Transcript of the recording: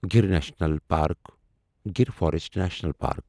Gir national park Gir forest national park